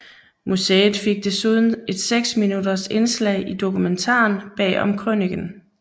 Museet fik desuden et seks minutters indslag i dokumentaren Bag om Krøniken